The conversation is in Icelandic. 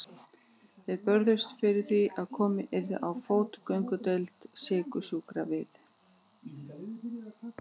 Þau börðust fyrir því að komið yrði á fót göngudeild sykursjúkra við